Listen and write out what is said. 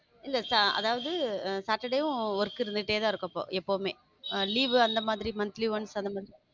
இல்ல அதாவது saturday யும் work இருந்துட்டேதான் இருக்கும் இப்போ எப்பவுமே ஆ leave ல அந்த மாதிரி monthly once